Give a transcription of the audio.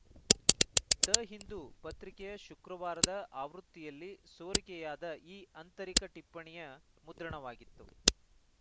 the Hindu ಪತ್ರಿಕೆಯ ಶುಕ್ರವಾರದ ಆವೃತ್ತಿಯಲ್ಲಿ ಸೋರಿಕೆಯಾದ ಈ ಆಂತರಿಕ ಟಿಪ್ಪಣಿಯ ಮುದ್ರಣವಾಗಿತ್ತು